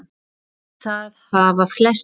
Og það hafa flestir gert.